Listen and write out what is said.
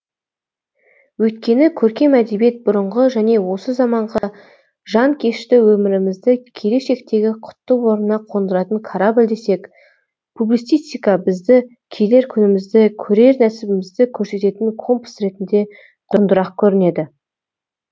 өйткені көркем әдебиет бұрынғы және осызаманғы жанкешті өмірімізді келешектегі құтты орнына қондыратын корабль десек публицистика бізді келер күнімізді көрер нәсібімізді көрсететін компас ретінде құндырақ көрінеді